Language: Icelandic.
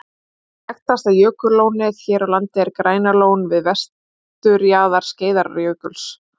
Eitt þekktasta jökullónið hér á landi er Grænalón við vesturjaðar Skeiðarárjökuls.